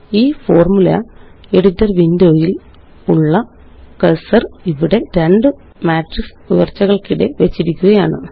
ഈFormula editor window യില് ഉള്ള cursor ഇവിടെ രണ്ട് മാട്രിക്സ് ഉയര്ച്ചകള്ക്കിടെ വെച്ചിരിക്കുകയാണ്